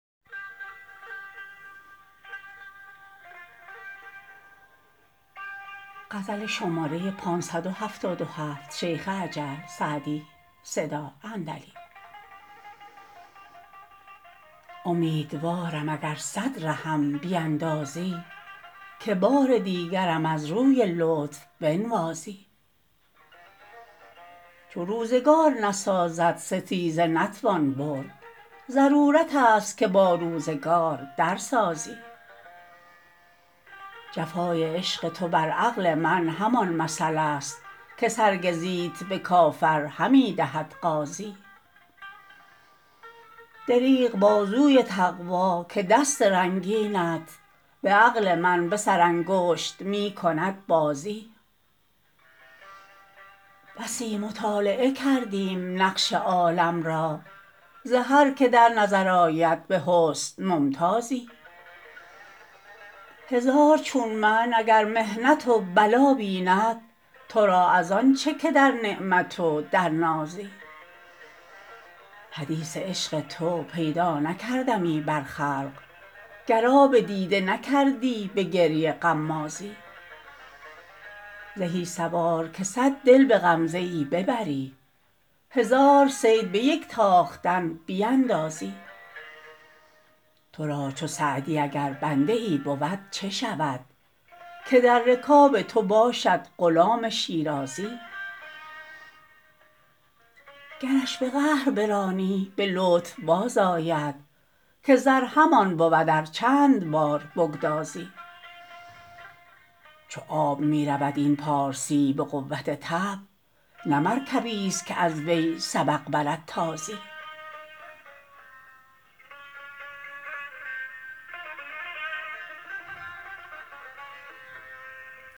امیدوارم اگر صد رهم بیندازی که بار دیگرم از روی لطف بنوازی چو روزگار نسازد ستیزه نتوان برد ضرورت است که با روزگار در سازی جفای عشق تو بر عقل من همان مثل است که سرگزیت به کافر همی دهد غازی دریغ بازوی تقوا که دست رنگینت به عقل من به سرانگشت می کند بازی بسی مطالعه کردیم نقش عالم را ز هر که در نظر آید به حسن ممتازی هزار چون من اگر محنت و بلا بیند تو را از آن چه که در نعمتی و در نازی حدیث عشق تو پیدا نکردمی بر خلق گر آب دیده نکردی به گریه غمازی زهی سوار که صد دل به غمزه ای ببری هزار صید به یک تاختن بیندازی تو را چو سعدی اگر بنده ای بود چه شود که در رکاب تو باشد غلام شیرازی گرش به قهر برانی به لطف بازآید که زر همان بود ار چند بار بگدازی چو آب می رود این پارسی به قوت طبع نه مرکبیست که از وی سبق برد تازی